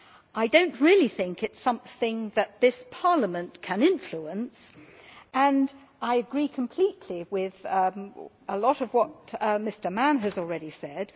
I do not really think it is something that this Parliament can influence, and I agree completely with a lot of what Mr Mann has already said.